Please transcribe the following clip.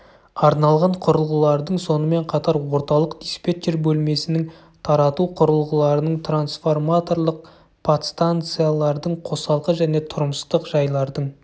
арналған құрылғылардың сонымен қатар орталық диспетчер бөлмесінің тарату құрылғыларының трансформаторлық подстанциялардың қосалқы және тұрмыстық жайлардың